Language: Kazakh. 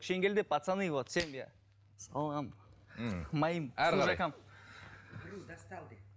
шенгелді пацаны вот салам моим